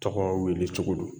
Tɔgɔ weelecogo don.